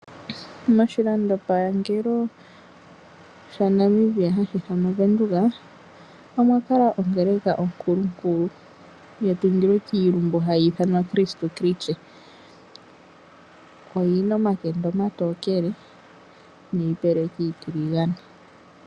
Moshilando pangelo shaNamibia hashi ithanwa oVenduka omwakala ongeleka onkulunkulu, yatungilwe kiilumbu hayi ithanwa Kriste kristus oyina omatenda omatokele niipeleki iitokele.